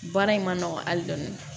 Baara in ma nɔgɔn hali dɔɔni